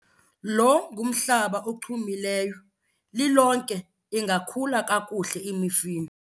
Lo ngumhlaba ochumileyo, lilonke ingakhula kakuhle imifino.